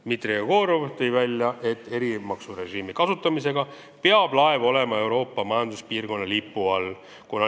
Dmitri Jegorov tõi välja, et erimaksurežiimi kasutamiseks peab laev olema Euroopa Majanduspiirkonna lipu all.